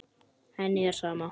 Henni er sama.